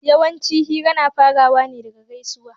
Yawanci hira na farawa ne daga gaisuwa